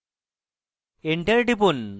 enter টিপুন